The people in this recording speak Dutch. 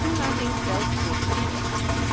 Een toelating geldt voor drie jaar.